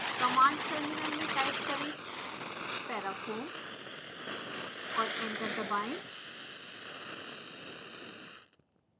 command terminal में type करें parafoam और एंटर दबाएं